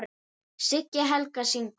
Siggi Helga: Syngur?